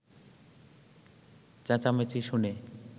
চেঁচামেচি শুনে